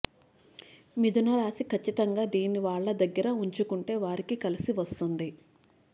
మిథునరాశి కచ్చితంగా దీన్ని వాళ్ల దగ్గర ఉంచుకుంటే వారికి కలిసి వస్తుంది